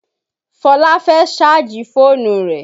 Fola fẹ́ sáàjì fọ́ọ̀nù rẹ̀